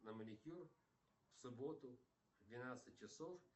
на маникюр в субботу в двенадцать часов